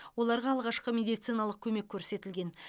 оларға алғашқы медициналық көмек көрсетілген